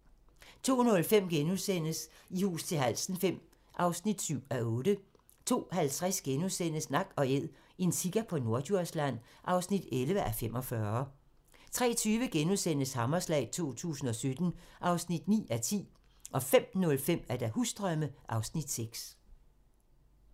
02:05: I hus til halsen V (7:8)* 02:50: Nak & Æd - en sika på Norddjursland (11:45)* 03:20: Hammerslag 2017 (9:10)* 05:05: Husdrømme (Afs. 6)